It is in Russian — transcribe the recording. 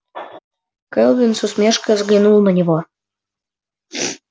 кэлвин с усмешкой взглянула на него